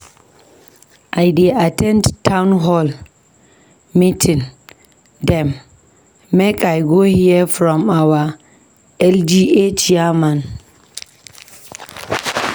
I dey at ten d townhall meeting dem, make I go hear from our LGA chairman.